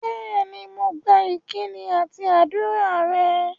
Bẹ́ẹ̀ni, mo gba ìkíni àti ádùrá rẹ̀